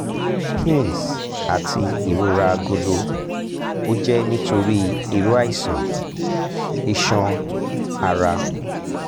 pins ati irora agolo o jẹ nitori iru iṣan iṣan ara